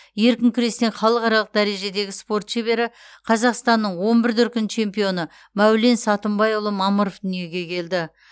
еркін күрестен халықаралық дәрежедегі спорт шебері қазақстанның он бір дүркін чемпионы мәулен сатымбайұлы мамыров дүниеге келді